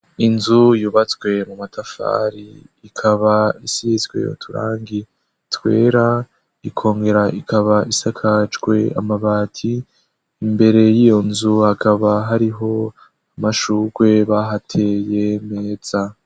Inzu yubatswe mu matafari, ikaba isizwe uturangi twera, ikongera ikaba isakajwe amabati. Imbere y'iyo nzu hakaba hariho amashurwe bahateye meza.